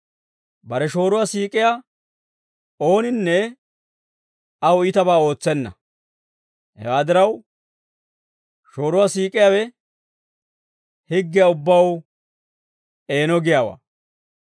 Bare shooruwaa siik'iyaa ooninne aw iitabaa ootsenna; hewaa diraw, shooruwaa siik'iyaawe higgiyaa ubbaw eeno giyaawaa.